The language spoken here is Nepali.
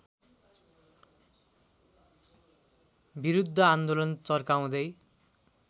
विरुद्ध आन्दोलन चर्काउँदै